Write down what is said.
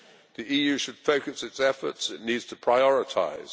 The EU should focus its efforts it needs to prioritise.